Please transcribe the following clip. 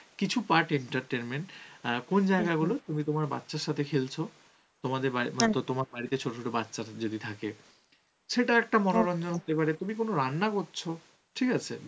কিছু part entertainment কোন জায়গায় বল তুমি তোমার বাচ্চার সাথে খেলছ তোমাদের বাড়~ মানে তোমার বাড়িতে ছোট ছোট বাচ্চা যদি থাকে সেটা একটা মনোরঞ্জন হতে পারে. তুমি কোন রান্না করছ ঠিক আছে